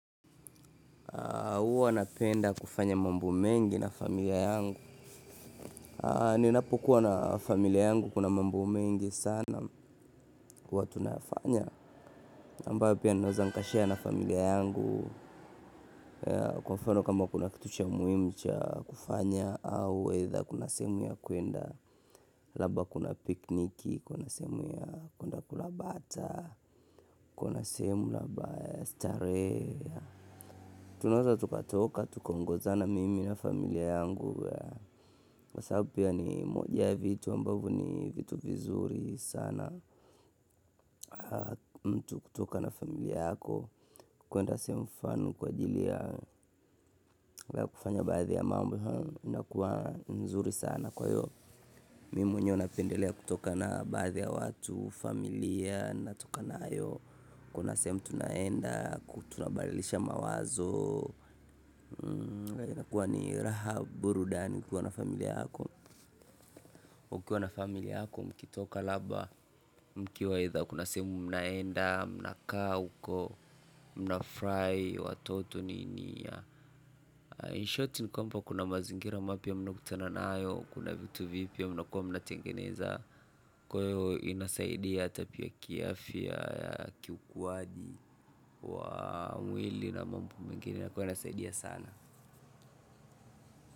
Huwa napenda kufanya mambo mengi na familia yangu. Ninapokuwa na familia yangu kuna mambo mengi sana huwa tunafanya ambayo pia ninaweza nikashare na familia yangu kwa mfano kama kuna kitu cha muhimu cha kufanya. Au either kuna semu ya kwenda, labda kuna pikniki, kuna sehemu ya kwenda kula bata, kuna sehemu labda starehe. Tunaweza tukatoka, tukongozana mimi na familia yangu kwa sababu pia ni moja ya vitu ambavyo ni kitu kizuri sana mtu kutoka na familia yako kwenda sehemu fulani kwa jili ya kufanya baadhi ya mambo inakuwa ni nzuri sana kwahiyo mimi mwenyewe napendelea kutoka na baadhi ya watu familia natoka nayo kuna sehemu tunaenda tuna badilisha mawazo inakua ni raha burudani ukiwa na familia yako ukiwa na familia yako mkitoka labda mkiwa aidha kuna sehemu mnaenda, mna kaa uko, mnafurahi watoto nini in short ni kwamba kuna mazingira mapya mnayo kutana nayo kuna vitu vipya mnakuwa mna tengeneza kwahiyo inasaidia ata kiafya kiukuaji wa mwili na mambo mengine kwahiyo inasaidia sana.